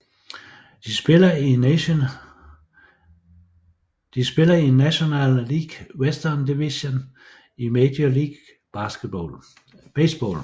De spiller i National League Western Division i Major League Baseball